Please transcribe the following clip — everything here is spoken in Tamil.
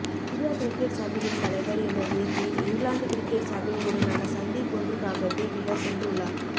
இந்தியா கிரிக்கெட் சபையின் தலைவர் என்ற ரீதீயில் இங்கிலாந்து கிரிக்கெட் சபை உடனான சந்திப்பொன்றுக்காகவே இவர் சென்றுள்ளார்